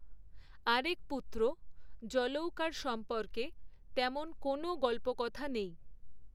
আরেক পুত্র জলৌকার সম্পর্কে তেমন কোনও গল্পকথা নেই।